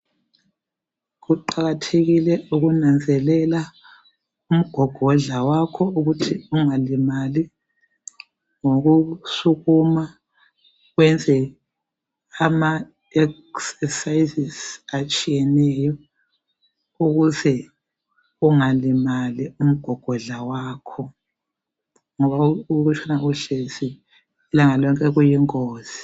Kuqakathekile ukunanzelela umgogodla wakho ukuthi ungalimali ngokusukuma wenze amaexercises atshiyeneyo ukuze ungalimali umgogodla wakho ngoba ukutshona uhlezi ilanga lonke kuyingozi.